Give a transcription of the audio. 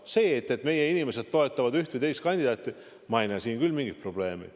Selles, et meie inimesed toetavad üht või teist kandidaati, ei näe ma küll mingit probleemi.